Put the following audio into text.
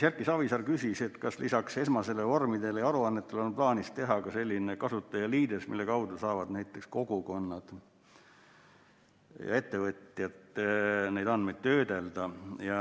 Erki Savisaar küsis, kas lisaks esmastele vormidele ja aruannetele on plaanis teha ka selline kasutajaliides, mille kaudu saavad näiteks kogukonnad ja ettevõtjad neid andmeid töödelda.